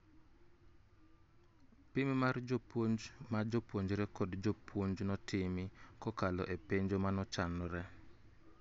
Pim mar jopuonj ma jopuonjre kod jopuonj notimi kokalo e penjo mochanore